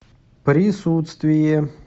присутствие